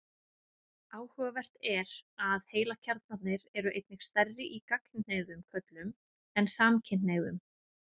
Áhugavert er að heilakjarnarnir eru einnig stærri í gagnkynhneigðum körlum en samkynhneigðum.